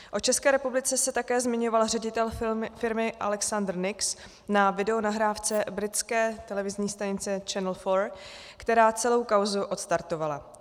O České republice se také zmiňoval ředitel firmy Alexander Nix na videonahrávce britské televizní stanice Channel 4, která celou kauzu odstartovala.